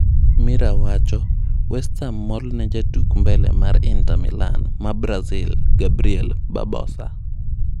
(Mirror) West Ham mol ne jatuk mbele mar Inter Milan maa Brazil Gabriel Barbosa.